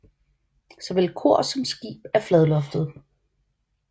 Såvel kor som skib er fladloftede